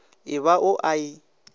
e ba o a e